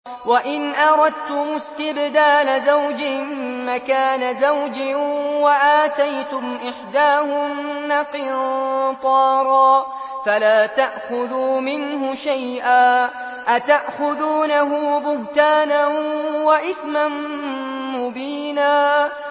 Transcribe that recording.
وَإِنْ أَرَدتُّمُ اسْتِبْدَالَ زَوْجٍ مَّكَانَ زَوْجٍ وَآتَيْتُمْ إِحْدَاهُنَّ قِنطَارًا فَلَا تَأْخُذُوا مِنْهُ شَيْئًا ۚ أَتَأْخُذُونَهُ بُهْتَانًا وَإِثْمًا مُّبِينًا